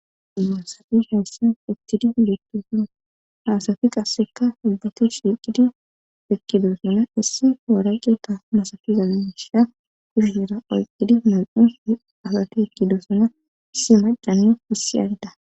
imusafi hayssan ithtidi ilektosona haasafi qasseka hibbate siqidi ekkidosana issi waraqeta masafiza misha kuzhera oyqqidi mam7u asati ekkidosana issi macan issi adda